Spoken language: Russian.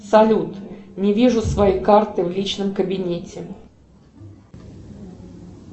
салют не вижу своей карты в личном кабинете